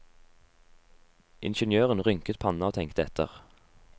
Ingeniøren rynket panna og tenkte etter.